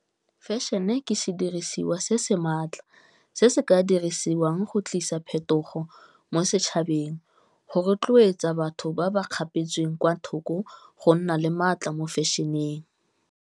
Fashion-e ke sedirisiwa se se maatla se se ka dirisiwang go tlisa phetogo mo setšhabeng go rotloetsa batho ba ba kgapetsweng kwa thoko, go nna le maatla mo fashion-eng.